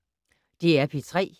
DR P3